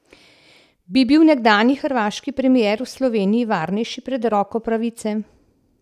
Bi bil nekdanji hrvaški premier v Sloveniji varnejši pred roko pravice?